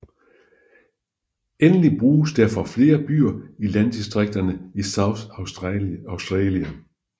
Endeligt bruges det for flere byer i landdistrikterne i South Australia